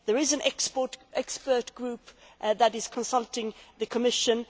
there is an expert group that is consulting the Commission